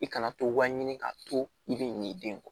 I kana to waɲini ka to i bɛ ɲinɛ i den kɔ